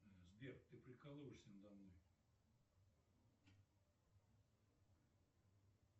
сбер ты прикалываешься надо мной